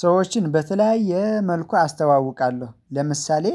ሰዎችን በተለያየ መልኩ አስተዋውቃለሁ ለምሳሌ